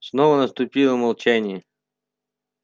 снова наступило молчание